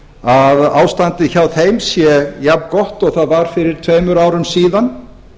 að ástandið hjá þeim sé jafngott og það var fyrir tveimur árum síðan